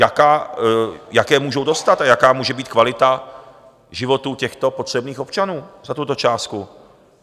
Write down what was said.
Jaké můžou dostat a jaká může být kvalita životů těchto potřebných občanů za tuto částku?